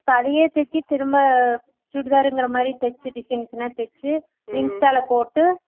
இப்ப அதையே தூக்கி திரும்ப chudithar க்ராமாரி தேச்சு designs மே தேச்சு insta ல போட்டு